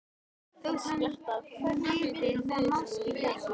Þótt hún viti það máske ekki.